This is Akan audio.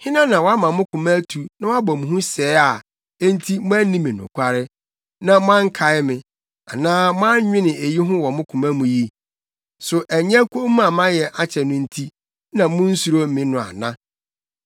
“Hena na wama mo koma atu na wabɔ mo hu sɛɛ a enti moanni me nokware, na moankae me anaa moannwene eyi ho wɔ mo koma mu yi? So ɛnyɛ komm a mayɛ akyɛ no nti na munsuro me no ana?